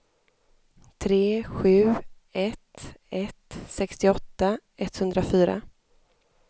tre sju ett ett sextioåtta etthundrafyra